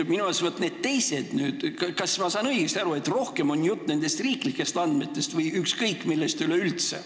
Kas ma saan õigesti aru, et jutt on rohkem nendest riiklikest andmetest või ikkagi ükskõik mis andmetest?